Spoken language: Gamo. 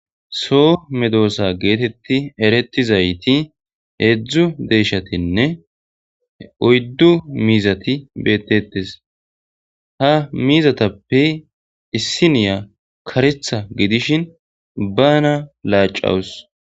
so medoosa geetetti eretizayti heedzdzu deyishatinne oyddu miizati bettetes ha miizatappe issiniya karetha gidishin bana laacawus